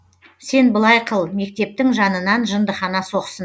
сен былай қыл мектептің жанынан жындыхана соқсын